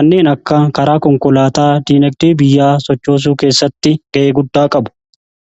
kanneen akka karaa konkolaataa diinagdee biyyaa sochoosuu keessatti ga'ee guddaa qabu.